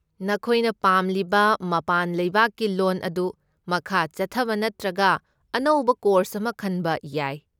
ꯅꯈꯣꯏꯅ ꯄꯥꯝꯂꯤꯕ ꯃꯄꯥꯟ ꯂꯩꯕꯥꯛꯀꯤ ꯂꯣꯟ ꯑꯗꯨ ꯃꯈꯥ ꯆꯠꯊꯕ ꯅꯠꯇ꯭ꯔꯒ ꯑꯅꯧꯕ ꯀꯣꯔꯁ ꯑꯃ ꯈꯟꯕ ꯌꯥꯏ꯫